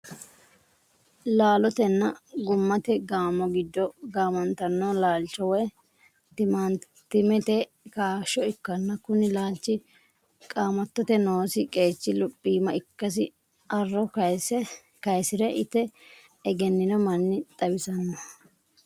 Laalotenna gummate gaamo giddo gaamantanno laalcho woy timaantimete kaashsho ikkanna kuni laalchi qaamattote noosi qeechi luphiima ikkasi arro kaayisire ite egennino manni xawissanno.